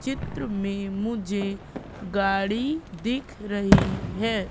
चित्र में मुझे गाड़ी दिख रही है।